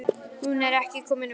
Eiríki var margt gefið.